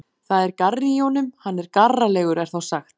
Það er garri í honum, hann er garralegur er þá sagt.